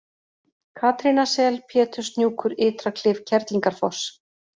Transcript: Katrínasel, Péturshnjúkur, Ytraklif, Kerlingarfoss